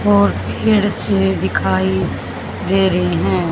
और फिर से दिखाई दे रही हैं।